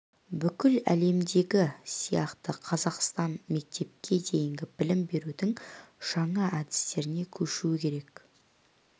бүкіл әлемдегі сияқты қазақстан мектепке дейінгі білім берудің жаңа әдістеріне көшу керек